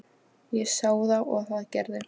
Ég sá þá og það gerði